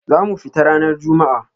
za mu fita ranar Juma'a.